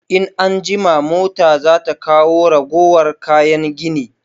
In an jima mota za ta kawo ragowar kayan gini